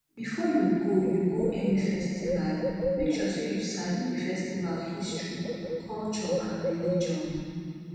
before you go you go any festival make sure say you sabi di festival history culture and religion